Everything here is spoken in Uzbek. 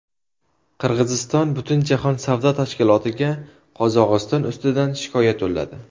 Qirg‘iziston Butunjahon savdo tashkilotiga Qozog‘iston ustidan shikoyat yo‘lladi.